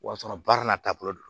O y'a sɔrɔ baara n'a taabolo don